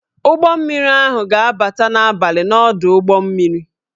Ụgbọ mmiri ahụ ga-abata n'abalị n'ọdụ ụgbọ mmiri